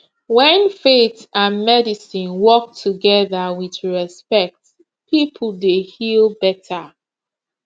when faith and medicine work together with respect people dey heal better